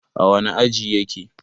a wane aji yake?